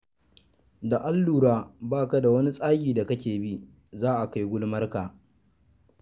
Da an lura ba ka da wani tsagi da kake bi ,za a kai gulmarka.